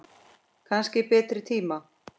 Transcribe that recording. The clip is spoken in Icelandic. Kannski betri tíma.